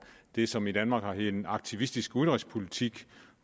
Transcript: det som i danmark har heddet en aktivistisk udenrigspolitik